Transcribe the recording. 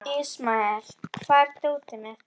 Ismael, hvar er dótið mitt?